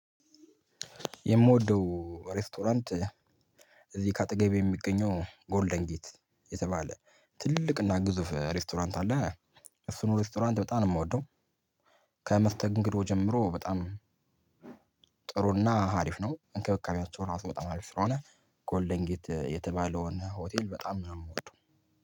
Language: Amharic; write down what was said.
የምወደው ሬስቶራንት እዚህ ከአጠገቤ የሚገኘው ጎልደን ጌት የተባለ ትልቅ እና ግዙፍ ሬስቶራንት አለ። እሱን ሬስቶራንት በጣም ነው የምወደው። ከመስተንግዶ ጀምሮ በጣም ጥሩና አሪፍ ነው። እንክብካቤያቸው ራሱ በጣም አሪፍ ስለሆነ ጎልደን ጌት የተባለውን ሆቴል በጣም ነው የምወደው።